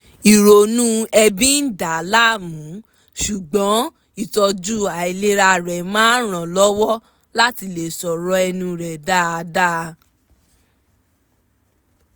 ìrònú ẹ̀bi ń dà á láàmú ṣùgbọ́n ìtọ́jú àìlera rẹ̀ máa ń ràn lọ́wọ́ láti lè sọ̀rọ̀ ẹnu rẹ̀ dáadáa